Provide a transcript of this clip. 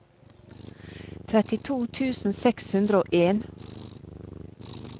trettito tusen seks hundre og en